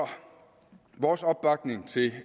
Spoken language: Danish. vores opbakning til